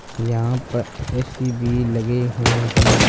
यहां पर ए_सी भी लगे हुए हैं।